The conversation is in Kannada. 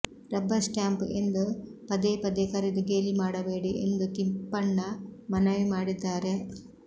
ರಬ್ಬರ್ ಸ್ಪಾಂಪ್ ಎಂದು ಪದೇಪದೇ ಕರೆದು ಗೇಲಿ ಮಾಡಬೇಡಿ ಎಂದು ತಿಪ್ಪಣ್ಣ ಮನವಿ ಮಾಡಿದ್ದಾರೆ